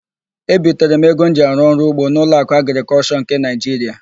Ebitere m ego m ji arụ ọrụugbo n'Ụlọakụ Agrịkọlshọ nke Naịjiria.